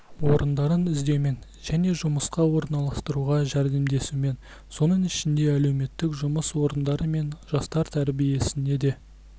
орындарын іздеумен және жұмысқа орналастыруға жәрдемдесумен соның ішінде әлеуметтік жұмыс орындары мен жастар тәжірибесіне де